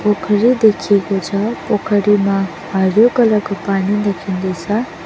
पोखरी देखिएको छ पोखरीमा हरियो कलर को पानी देखिँदै छ।